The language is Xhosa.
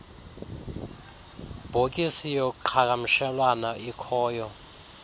bhokisi yoqhagamshelwano ikhoyo